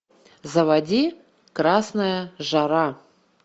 заводи красная жара